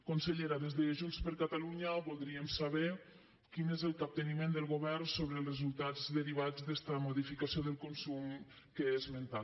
consellera des de junts per catalunya voldríem saber quin és el capteniment del govern sobre els resultats derivats d’esta modificació del consum que he esmentat